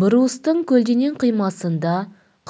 брустың көлденең қимасында